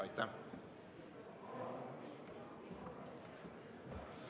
Aitäh!